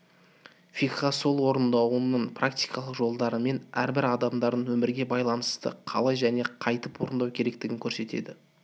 фикха сол орындаудың практикалық жолдарын әрбір адамдардың өмірге байланысты қалай және қайтып орындау керектігін көрсетеді